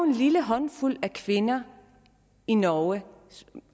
en lille håndfuld kvinder i norge det